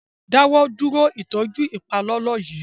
Dáwọ dúró ìtọjú ipalọlọ yí!